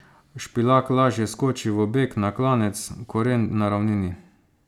Špilak lažje skoči v beg na klanec, Koren na ravnini.